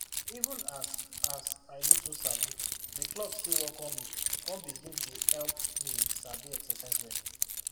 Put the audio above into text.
even as as i no too sabi di club still welcome me come begin dey help me sabi exercise well